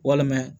Walima